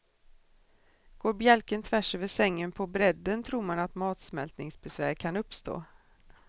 Går bjälken tvärs över sängen på bredden tror man att matsmältningsbesvär kan uppstå.